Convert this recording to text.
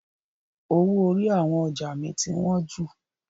Owó orí àwọn ọjà mi ti wọn jù.